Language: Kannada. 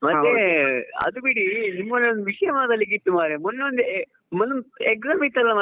ಮತ್ತೆ ಅದು ಬಿಡಿ ನಿಮ್ಮ್ ಊರಲ್ಲಿ ವಿಷ್ಯ ಮಾತಾಡ್ಲಿಕ್ಕೆ ಇತ್ತು ಮಾರಾಯಾ ಮೊನ್ನೆಯೊಂದ್ ಮೊನ್ನೆಯೊಂದು exam ಇತ್ತ್ ಮಾರಾಯ.